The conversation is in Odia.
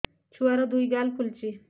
ଛୁଆର୍ ଦୁଇ ଗାଲ ଫୁଲିଚି